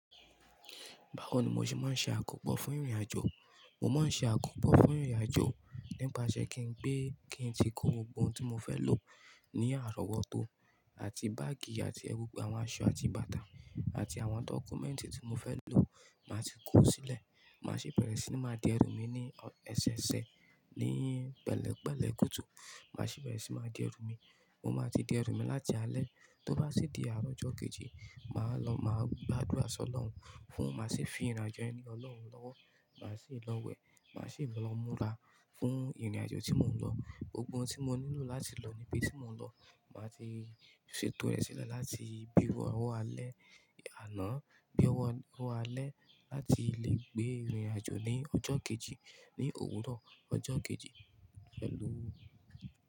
Báwo ní mo sì máa ń ṣe àkopọ́ fún ìrìn-àjò, mo máa ń ṣe akopọ fún ìrìn-àjò nípasẹ̀ kí n gbé, kí n tí ko gbogbo ohun tí mo fẹ́ lò ní àrọ́wọ́tó àti báàgì àti ẹwù, gbogbo àwọn aṣọ àti bàtà àti àwọn dọ́kúmẹ́ǹtì tí mo fẹ́ lò máa ti kó sílẹ̀. Màá sì bẹ̀rẹ̀ sí máa di ẹrú mi ní ẹsẹ ẹsẹ ní pẹ́lẹ̀ pẹ́lẹ̀ kùtù. Màá sì bẹ̀rẹ̀ sí máa di ẹrú mi. Mo máa ti di ẹrú mi láti alẹ́, tó bá sí di àárọ̀ ọjọ́ kejì, màá lọ, màá gba àdúrà sọ́lọ̀wù fún un, màá sì fi ìrìn-àjò yẹn le Ọlọ́run lọ́wọ́. Màá sì lọ wẹ̀, màá sì lọ múra fún ìrìn-àjò tí mò ń lọ. Gbogbo ohun tí mo nílò láti lọ níbi tí mò ń lọ, màá ti ṣètò rẹ̀ sílẹ̀ láti bí owó alẹ́ àná, bí owó alẹ́ láti lè gbé ìrìn-àjò ní ọjọ́ kejì, ní òwúrọ̀ ọjọ́ kejì, pelu.